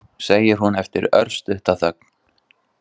Nú, segir hún eftir örstutta þögn.